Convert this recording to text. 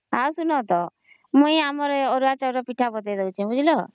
ଆଉ ଶୁଣ ତା ମୁଇଁ ଏ ଅରୁଆ ଚାଉଳର ପିଠା ବତେଇ ଦଉଛେ ବୁଝିଲ